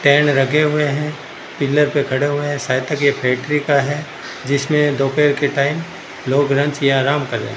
Ten लगे हुए हैं पिलर पे खड़े हुए हैं शायद तक ये फैक्ट्री का है जिसमें दोपहर के टाइम लोग लंच या आराम कर रहे है।